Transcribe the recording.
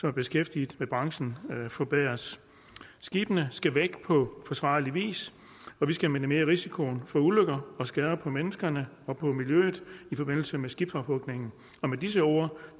er beskæftiget i branchen forbedres skibene skal væk på forsvarlig vis og vi skal minimere risikoen for ulykker og skader på menneskene og på miljøet i forbindelse med skibsophugningen med disse ord